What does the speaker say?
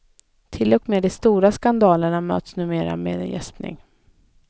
Till och med de stora skandalerna möts numera med en gäspning.